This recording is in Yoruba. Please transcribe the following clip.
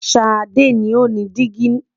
Sade ni o ni digi